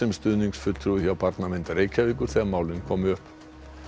stuðningsfulltrúi hjá Barnavernd Reykjavíkur þegar málin komu upp